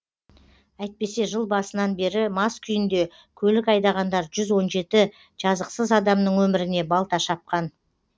әйтпесе жыл басынан бері мас күйінде көлік айдағандар жүз он жеті жазықсыз адамның өміріне балта шапқан